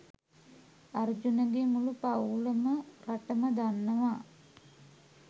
අර්ජුන ගේ මුළු පවුලම රටම දන්නවා.